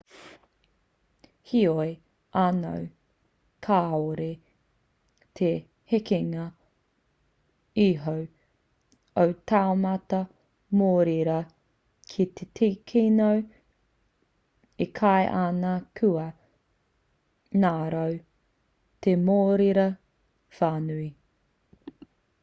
heoi anō kāore te hekenga iho o te taumata mōrearea ki te kino e kī ana kua ngaro te mōrearea whānui